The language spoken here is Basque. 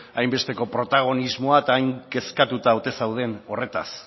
hainbesteko protagonismoa eta hain kezkatuta ote zauden horretaz